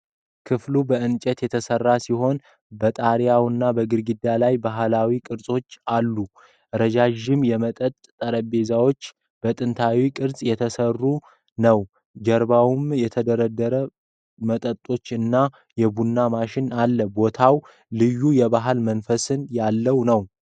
ክፍሉ በእንጨት የተሰራ ሲሆን፣ በጣሪያውና በግድግዳው ላይ ባህላዊ ቅርጾች አሉ። ረዣዥም የመጠጥ ጠረጴዛው በጥንታዊ ቅርጾች የተቀረጸ ነው። ከጀርባውም የተደረደሩ መጠጦችና የቡና ማሽን አለ። ቦታው ልዩ የባህል መንፈስ ያለው ነው።